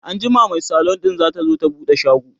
anjima Mai salon ɗin zatazo ta buɗe shago